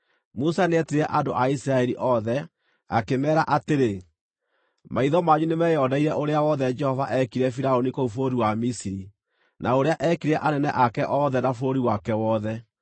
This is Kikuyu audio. Musa nĩetire andũ a Isiraeli othe, akĩmeera atĩrĩ: Maitho manyu nĩmeyoneire ũrĩa wothe Jehova eekire Firaũni kũu bũrũri wa Misiri, na ũrĩa eekire anene ake othe na bũrũri wake wothe.